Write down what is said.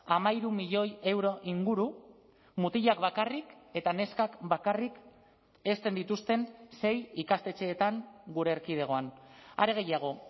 hamairu milioi euro inguru mutilak bakarrik eta neskak bakarrik hezten dituzten sei ikastetxeetan gure erkidegoan are gehiago